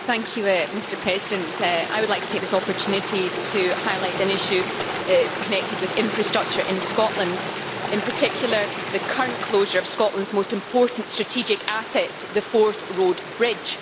Mr President, I would like to take this opportunity to highlight an issue connected with infrastructure in Scotland, in particular the current closure of Scotland's most important strategic asset the Forth Road Bridge.